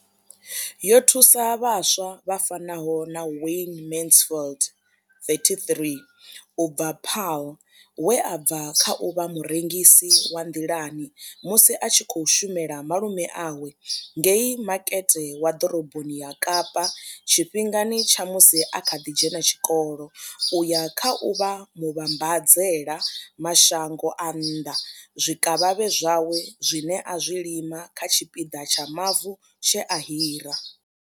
Yo thusa vhaswa vha fanaho na Wayne Mansfield 33 u bva Paarl, we a bva kha u vha murengisi wa nḓilani musi a tshi khou shumela malume awe ngei makete wa ḓoroboni ya Kapa tshifhingani tsha musi a kha ḓi dzhena tshikolo u ya kha u vha muvhambadzela mashango a nnḓa zwikavhavhe zwawe zwine a zwi lima kha tshipiḓa tsha mavu tshe a hira.